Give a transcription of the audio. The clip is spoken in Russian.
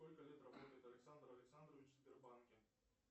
сколько лет работает александр александрович в сбербанке